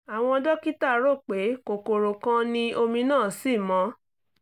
àwọn dókítà rò pé kòkòrò kan ni omi náà sì mọ́